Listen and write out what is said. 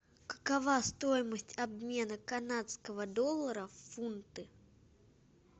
какова стоимость обмена канадского доллара в фунты